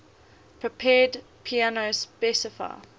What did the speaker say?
prepared piano specify